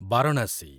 Varanasi